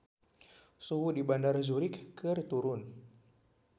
Suhu di Bandara Zurich keur turun